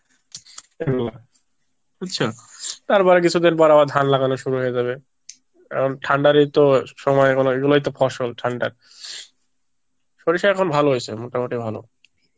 এগুলা বুজছো আর বাইরে কিছুদিন পর আবার ধান লাগানো শুরু হয়ে যাবে, এখন ঠান্ডার এত সময় এখনো এগুলোই তো ফসল, সরিষা এখন ভালো হয়েছে মোটামুটি ভালো